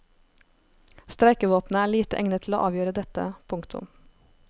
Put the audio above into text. Streikevåpenet er lite egnet til å avgjøre dette. punktum